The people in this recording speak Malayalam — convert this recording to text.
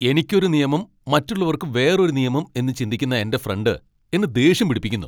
എനിക്ക് ഒരു നിയമം മറ്റുള്ളവർക്ക് വേറൊരു നിയമം എന്ന് ചിന്തിക്കുന്ന എന്റെ ഫ്രണ്ട് എന്നെ ദേഷ്യം പിടിപ്പിക്കുന്നു .